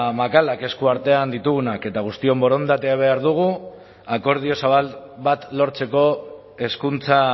makalak eskuartean ditugunak eta guztion borondatea behar dugu akordio zabal bat lortzeko hezkuntza